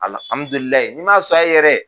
Alihamdulilayi ni ma sɔn a ye yɛrɛ